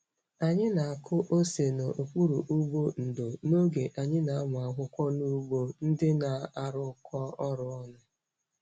Anyị na-akụ ose n'okpuru ụgbụ ndò n'oge anyị na-amụ akwụkwọ n'ugbo ndị na-arụkọ ọrụ ọnụ.